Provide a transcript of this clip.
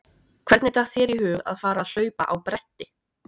Hvernig datt þér í hug að fara að hlaupa á bretti?